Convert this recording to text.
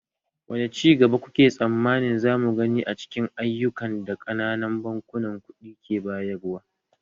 Wane ci gaba kuke tsammanin za mu gani a cikin ayyukan da ƙananan bankunan kuɗi ke bayarwa?